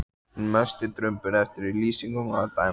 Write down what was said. Hinn mesti drumbur eftir lýsingum að dæma.